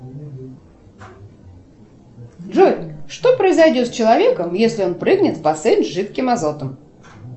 джой что произойдет с человеком если он прыгнет в бассейн с жидким азотом